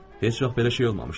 Heç vaxt belə şey olmamışdı.